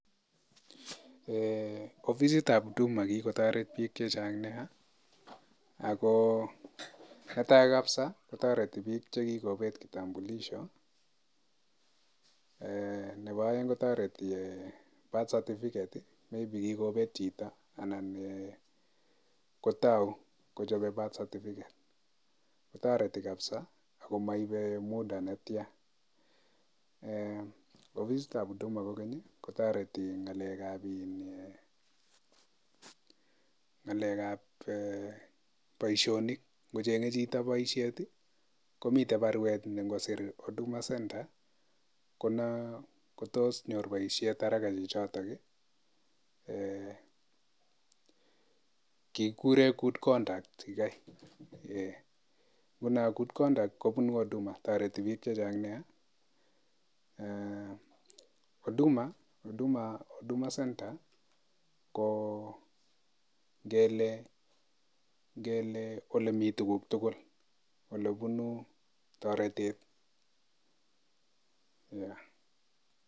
Ofisitab huduma kikotoret biik chechang nia ako netai kapsa kotoreti biik chekikopet kitambulisho, nebo aeng kotoreti eng birth certificate maybe kikopeet chito anan kotou kochope birth certificate ako maipei muda netya. Ofisitab huduma kokeny kotoreti eng ngalekab boisionik, ngochenge chito boisiet komitei baruet ne ngosiir huduma centre kotos nyor boisiet haraka chichotok, kikurei good conduct yikei. Nguno good conduct kobunu huduma, toreti biik chechang nea. Huduma centre ko ngele ole mi tuguk tugul, ole bunu toretet.